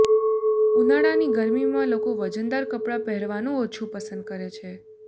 ઉનાળાની ગરમીમાં લોકો વજનદાર કપડાં પહેરવાનું ઓછું પસંદ કરે છે